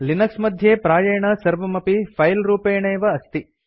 Linux मध्ये प्रायेण सर्वमपि फिले रूपेणैव अस्ति